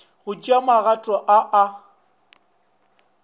go tšea magato ao a